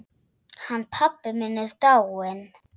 Hann pabbi minn er dáinn.